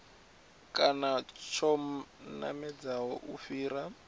kana tsho namedzaho u fhira